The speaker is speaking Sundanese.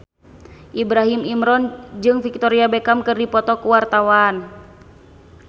Ibrahim Imran jeung Victoria Beckham keur dipoto ku wartawan